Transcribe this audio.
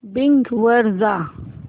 Bing वर जा